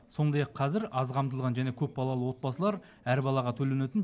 сондай ақ қазір аз қамтылған және көпбалалы отбасылар әр балаға төленетін